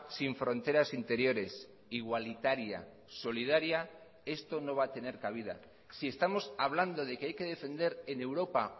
sin fronteras interiores igualitaria solidaria esto no va a tener cabida si estamos hablando de que hay que defender en europa